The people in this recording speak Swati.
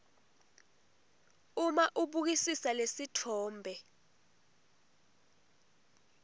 uma ubukisisa lesitfombe